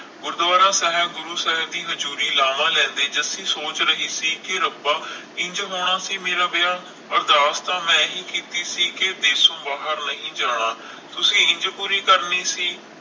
ਗੁਰੂਦਵਾਰਾ ਸਾਹਿਬ ਗੁਰੂ ਸਾਹਿਬ ਦੀ ਹਜ਼ੂਰੀ ਲਾਵਾਂ ਲੈਂਦੇ ਜੱਸੀ ਸੋਚ ਰਹੀ ਸੀ ਕਿ ਰੱਬਾ ਇੰਜ ਹੋਣਾ ਸੀ ਮੇਰਾ ਵਿਆਹ? ਅਰਦਾਸ ਤਾਂ ਮੈਂ ਹੀ ਕੀਤੀ ਸੀ ਕਿ ਦੇਸ਼ੋਂ ਬਾਹਰ ਨਹੀਂ ਜਾਣਾ ਤੁਸੀ ਇੰਜ ਪੂਰੀ ਕਰਨੀ ਸੀ?